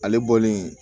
Ale bɔlen